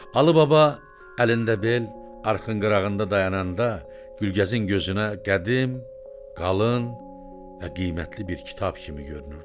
Alıbaba əlində bel, arxın qırağında dayananda Gülgəzin gözünə qədim, qalın və qiymətli bir kitab kimi görünürdü.